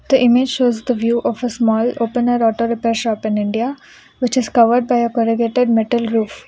The image shows the view of a small open auto repair shop in India. which is covered by a metal roof.